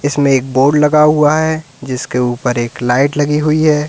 इसमें एक बोर्ड लगा हुआ है जिसके ऊपर एक लाइट लगी हुई है।